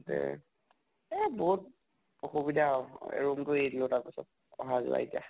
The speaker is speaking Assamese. তে এহ বহুত আসুবিধা আৰু room তো এৰি দিলো আৰু তাৰ পিছত । আহা যোৱা এতিয়া ।